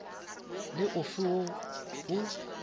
le o fe wo o